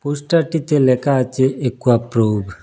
পোস্টারটিতে লেখা আছে অ্যাকুয়াপ্রুব ।